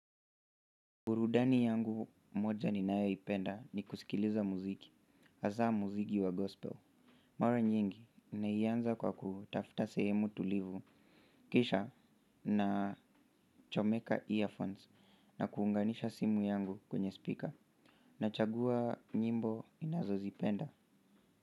Burundani yangu moja ninayoipenda ni kusikiliza muziki, hasaa muziki wa gospel. Mara nyingi, naianza kwa kutafuta sehemu tulivu, kisha nachomeka earphones na kuunganisha simu yangu kwenye speaker. Nachagua nyimbo ninazozipenda.